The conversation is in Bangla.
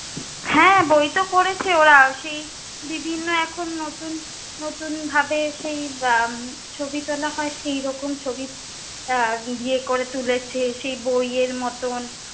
হ্যাঁ, বই তো করেছে ওরা। সেই দিদির না এখন নতুন নতুন ভাবে সেই উম ছবি তোলা হয়, সেই রকম ছবি আহ দিয়ে করে তুলেছে, সেই বইয়ের মতন।